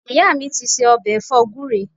Ìyá mi ti ṣe ọ̀bẹ̀ ẹ̀fọ́ gúre